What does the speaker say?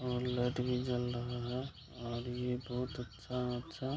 और लाइट भी जल रहा है और ये बहुत अच्छा-अच्छा --